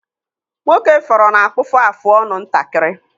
Nwokefọrọ na-akpụfọ afụ ọnụ ntakịrị.